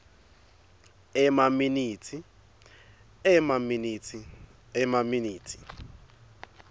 emaminitsi emaminitsi emaminitsi